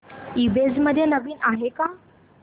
ईबझ मध्ये नवीन काय आहे